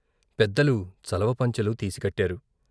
పెద్దలు చలవపంచలు తీసికట్టారు.